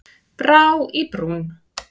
Brá í brún